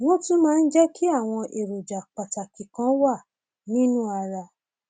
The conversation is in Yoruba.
wọn tún máa ń jẹ kí àwọn èròjà pàtàkì kan wà nínú ara